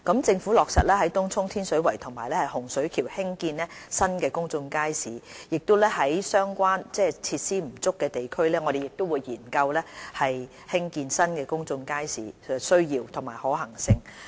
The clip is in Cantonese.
政府已落實在東涌、天水圍和洪水橋興建新公眾街市；在設施不足的地區，我們亦會研究興建新公眾街市的需要及可行性。